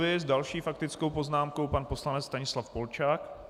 S další faktickou poznámkou pan poslanec Stanislav Polčák.